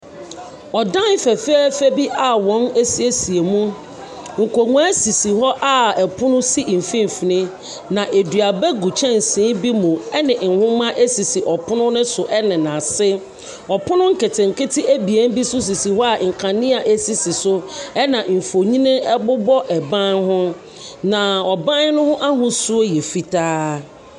Ɔdan fɛfɛɛfɛ bi a wɔn asiesie mu, nkonnwa sisi hɔ a pono si mfimfini, na aduaba gu kyɛnse bi mu ɛne nwoma sisi ɔpono ne so ɛne n’ase. Ɔpono nketenkete abien nso sisi hɔ nkanea sisi so, ɛna mfonini ɛbobɔ ɛban ho, na ɔban no ahosu yɛ fitaa.